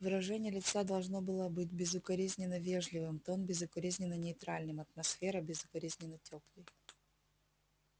выражение лица должно было быть безукоризненно вежливым тон безукоризненно нейтральным атмосфера безукоризненно тёплой